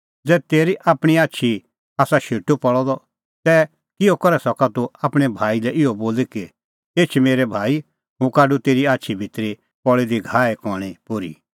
ज़ै तेरी आपणीं आछी ई आसा शेटू पल़अ द तै किहअ करै सका तूह आपणैं भाई लै इहअ बोली कि एछ मेरै भाई हुंह काढूं तेरी आछी भितरी पल़ी दी घाहे कणीं पोर्ही